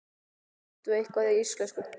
Kanntu eitthvað í íslensku?